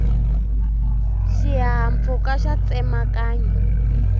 xihahampfhuka xa tsemakanya